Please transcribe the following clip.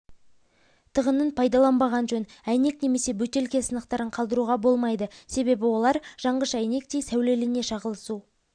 тығынын пайдаланбаған жөн әйнек немесе бөтелке сынықтарын қалдыруға болмайды себебі олар жанғыш әйнектей сәулелене шағылысу